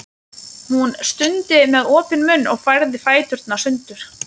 Hún stundi með opinn munninn og færði fæturna sundur.